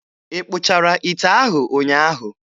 Ị kpụchara ite ahụ ụnyaahụ?